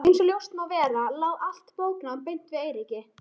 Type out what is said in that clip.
Einsog ljóst má vera lá allt bóknám beint við Eiríki.